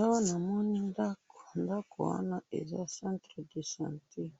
awa namoni ndakou ndakou wana eza centre de chantier ,